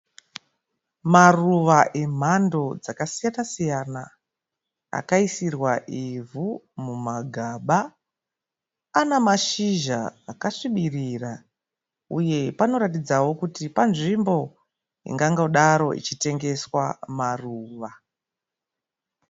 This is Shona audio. Maruva emhando dzakasiyana siyana akaisirwa ivhu mumagaba. Ana mashizha akasvibirira uye panoratidzao kuti panzvimbo ingangodaro ichitengeswa maruva.